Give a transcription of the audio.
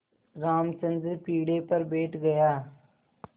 रामचंद्र पीढ़े पर बैठ गया